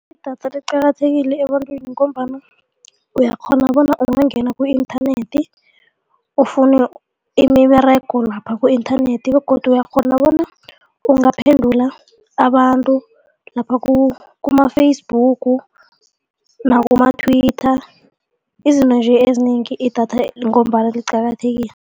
Idatha liqakathekile ebantwini ngombana uyakghona bona ungangena ku-internet ufune imiberego lapha ku-internet begodu uyakghona bona ungaphendula abantu lapha kuma-Facebook nakuma-Twitter, izinto nje ezinengi idatha ngombana liqakathekile.